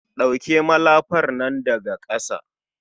ɗauke malafar nan daga ƙasa